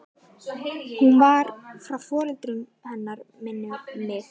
Hún var frá foreldrum hennar minnir mig.